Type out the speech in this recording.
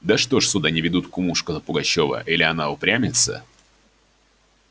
да что ж сюда не ведут кумушку-то пугачёва или она упрямится